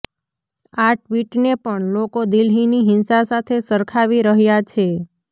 આ ટ્વીટને પણ લોકો દિલ્હીની હિંસા સાથે સરખાવી રહ્યા છે